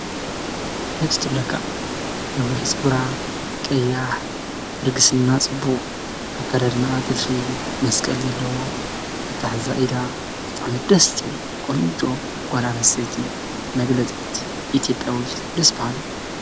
ደስ ትብለካ፡፡ ነዊሕ ፀጉራ፣ ቀያሕ፣ ደርጊስና ፅቡቕ፣ ኣከደድናኣ ጥርፊ መስቀል ዘለዎ፣ ኣታሓሕዛ ኢዳ ብጣዕሚ ደስ ዝብል ቖንጆ ጓልኣነስተይቲ መግለፂት ኢትዮጵያዊት ደስ በሃሊት፡፡